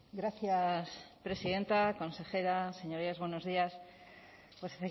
gracias presidenta consejera señorías buenos días pues